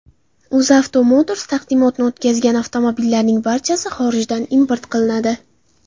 UzAuto Motors taqdimotini o‘tkazgan avtomobillarning barchasi xorijdan import qilinadi.